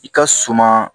I ka suma